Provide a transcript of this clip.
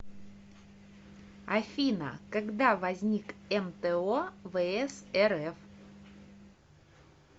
афина когда возник мто вс рф